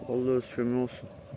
Allah özü kömək olsun.